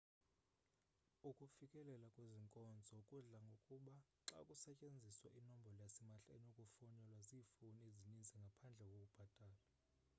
ukufikelela kwezi nkonzo kudla ngokuba xa kusetyenziswa inombolo yasimahla enokufonelwa ziifowuni ezininzi ngaphandle kokubhatala